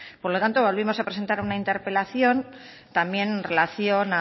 por lo tanto volvimos a presentar una interpelación también en relación